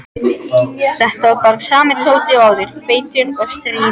Þetta var bara sami Tóti og áður, feitur og stríðinn.